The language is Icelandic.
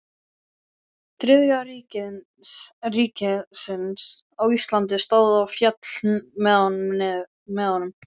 Þriðja ríkisins á Íslandi stóð og féll með honum.